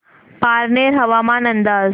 पारनेर हवामान अंदाज